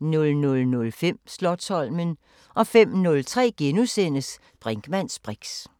00:05: Slotsholmen 05:03: Brinkmanns briks *